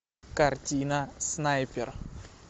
картина снайпер